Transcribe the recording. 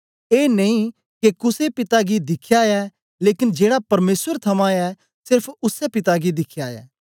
ए नेई के कुसे पिता गी दिख्या ऐ लेकन जेड़ा परमेसर थमां ऐ सेरफ उसै पिता गी दिख्या ऐ